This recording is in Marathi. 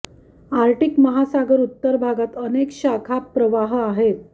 आर्क्टिक महासागर उत्तर भागात अनेक शाखा प्रवाह आहेत